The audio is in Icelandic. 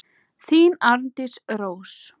Þín, Arndís Rós.